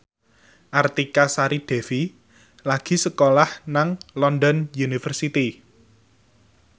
Artika Sari Devi lagi sekolah nang London University